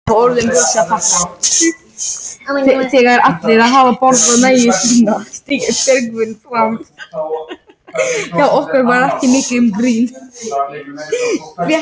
Sá hávaxnari brosti hlýlega og lagði krumluna á öxl gömlu konunni.